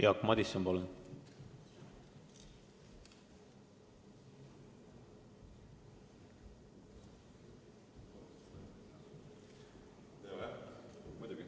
Jaak Madison, palun!